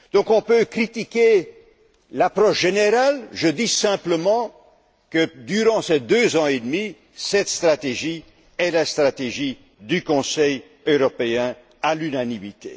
On peut critiquer l'approche générale, mais je dis simplement que, durant ces deux ans et demi, cette stratégie est la stratégie du Conseil européen à l'unanimité.